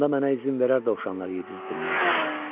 Onda mənə izin verər dovşanlar yedizdirməyə.